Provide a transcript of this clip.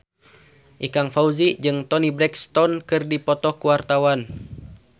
Ikang Fawzi jeung Toni Brexton keur dipoto ku wartawan